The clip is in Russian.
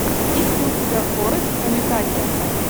есть ли у тебя форест уитакер